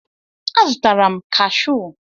A zụtara m kashụ